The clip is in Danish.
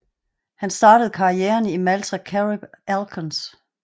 Han startede karrieren i Malta Carib Alcons